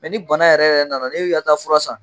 ni bana yɛrɛ yɛrɛ nana n'e ka taa fura san.